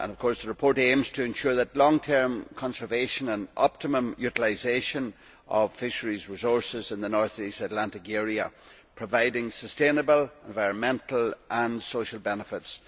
The report aims to ensure the long term conservation and optimum utilisation of fisheries resources in the North East Atlantic area, providing sustainable environmental and social benefits.